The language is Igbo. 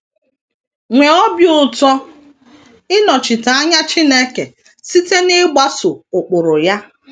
Nwee obi ụtọ ịnọchite anya Chineke site n’ịgbaso ụkpụrụ ya.